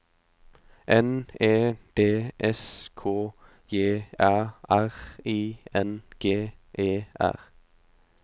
N E D S K J Æ R I N G E R